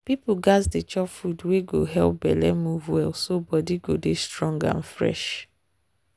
people gats dey chop food wey go help belle move well so body go dey strong and fresh.